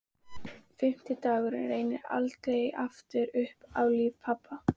Fimmti dagurinn rennur aldrei aftur upp í lífi pabba.